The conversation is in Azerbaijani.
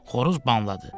Xoruz banladı.